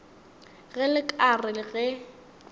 ge le ka re ge